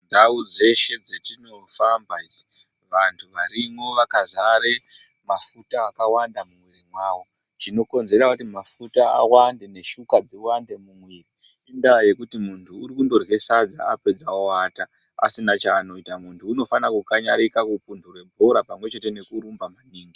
Ndau dzeshe dzetinofamba isusu vantu varimwo vakazare mafuta akawanda mu mwiri mawo chino konzera kuti mafuta awande ne shuka dziwande mu mwiri inda yekuti muntu uri kundorye sadza apedza owata asina chaanoita muntu unofana ku kanyarika ku pundure bhora pamwe chete neku rumba maningi.